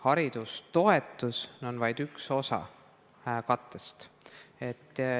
Haridustoetus on vaid üks osa kattest.